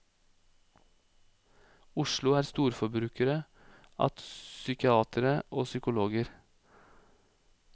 Oslo er storforbrukere at psykiatere og psykologer.